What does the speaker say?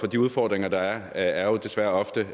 de udfordringer der er er jo desværre ofte